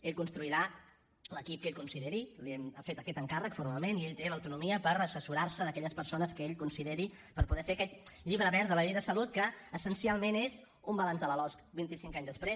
ell construirà l’equip que ell consideri li hem fet aquest encàrrec formalment i ell té l’autonomia per assessorar se d’aquelles persones que ell consideri per poder fer aquest llibre verd de la llei de salut que essencialment és un balanç de la losc vint i cinc anys després